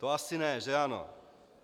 To asi ne, že ano?